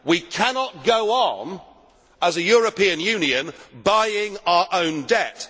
We cannot go on as a European Union buying our own debt.